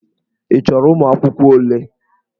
Ị chọrọ ụmụ akwụkwọ ole?